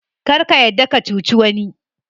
Kar ka yarda ka cuci wani.